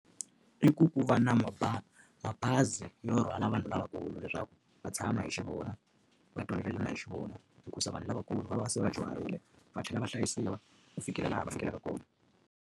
I ku ku va na mabazi yo rhwala vanhu lavakulu leswaku va tshama hi xivona, va t hi xivona hikusa vanhu lavakulu va va se va dyuharile, va tlhela va hlayisiwa ku fikela laha va fikaka kona.